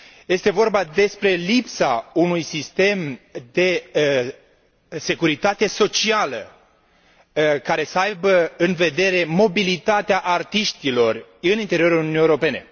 Este vorba despre lipsa unui sistem de securitate socială care să aibă în vedere mobilitatea artiștilor în interiorul Uniunii Europene.